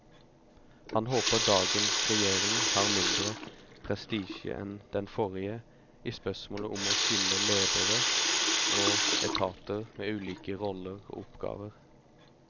Han håper dagens regjering har mindre prestisje enn den forrige i spørsmålet om å skille ledere og etater med ulike roller og oppgaver.